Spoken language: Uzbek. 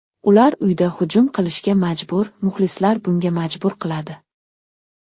Ular uyda hujum qilishga majbur, muxlislar bunga majbur qiladi.